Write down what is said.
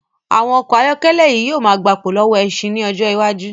Àwọn ọkọ ayọ́kẹ́lẹ̀ yìí ó gbà pò lọ́wọ́ ẹṣin ín ọjọ́ iwájú